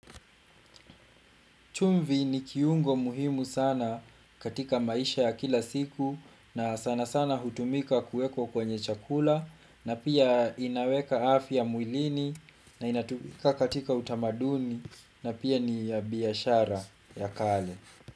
Chumvi ni kiungo muhimu sana katika maisha ya kila siku na sanasana hutumika kuekwa kwenye chakula na pia inaweka afya mwilini na inatumika katika utamaduni na pia ni ya biashara ya kale.